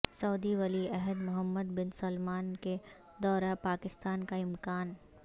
سعودی ولی عہد محمد بن سلمان کے دورہ پاکستان کا امکان